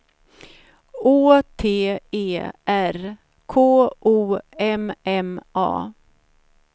Å T E R K O M M A